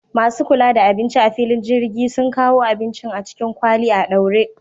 Masu kula da abinci a filin jirgi sun kawo abincin a cikin kwali a ɗaure